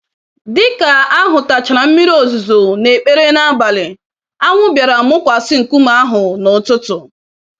Dịka ahụtachara mmiri ozuzo na ekpere nabalị, anwụ bịara mụkwasị nkume ahụ n'ụtụtụ